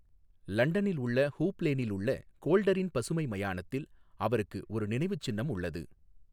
லண்டனில் உள்ள ஹூப் லேனில் உள்ள கோல்டரின் பசுமை மயானத்தில் அவருக்கு ஒரு நினைவுச்சின்னம் உள்ளது.